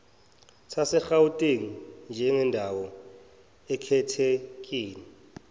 sasegauteng njengendawo ekhethekile